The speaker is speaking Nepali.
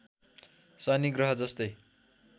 शनि ग्रहजस्तै